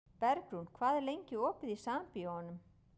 Bergrún, hvað er lengi opið í Sambíóunum?